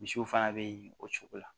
Misiw fana bɛ yen o cogo la